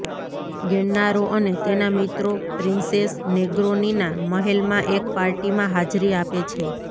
Gennaro અને તેના મિત્રો પ્રિન્સેસ નેગ્રોનીના મહેલમાં એક પાર્ટીમાં હાજરી આપે છે